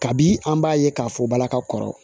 Kabi an b'a ye k'a fɔ balaka kɔrɔ